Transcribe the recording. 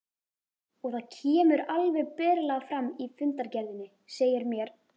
Og það kemur alveg berlega fram í fundargerðinni, segir mér